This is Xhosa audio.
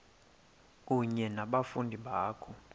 kunye nabafundi bakho